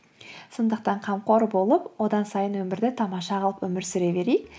сондықтан қамқор болып одан сайын өмірді тамаша қылып өмір сүре берейік